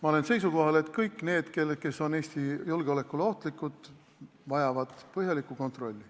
Ma olen seisukohal, et kõik need, kes on Eesti julgeolekule ohtlikud, vajavad põhjalikku kontrolli.